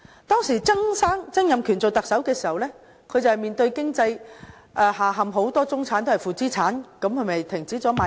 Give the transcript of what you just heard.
當時，曾蔭權出任特首時，社會面對經濟下陷，很多中產變成負資產，於是政府停止賣地。